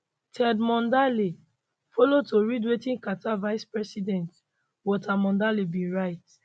ted mondale follow to read wetin carter vice president walter mondale bin write